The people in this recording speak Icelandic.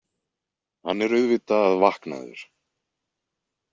Hann er auðvitað vaknaður.